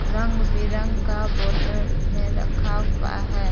रंग बिरंग का बोतल में रखा हुआ है।